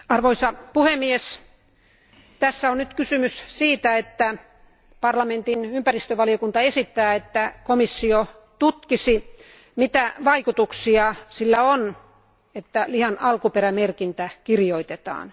Arvoisa puhemies, tässä on nyt kysymys siitä, että parlamentin ympäristövaliokunta esittää, että komissio tutkisi, mitä vaikutuksia sillä on, että lihan alkuperämerkintä kirjoitetaan.